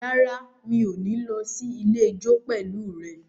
Rárá, mi ò ní lọ sí ilé ijó pẹ̀lú rẹ